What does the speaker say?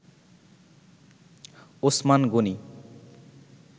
Osman Gani